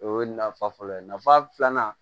O ye nafa fɔlɔ ye nafa filanan